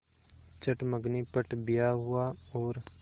चट मँगनी पट ब्याह हुआ और